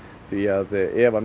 því að ef